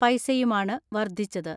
പൈസയുമാണ് വർദ്ധിച്ചത്.